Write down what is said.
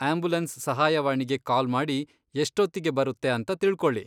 Ambulance ಸಹಾಯವಾಣಿಗೆ call ಮಾಡಿ ಎಷ್ಟೊತ್ತಿಗೆ ಬರುತ್ತೆ ಅಂತ ತಿಳ್ಕೊಳ್ಳಿ.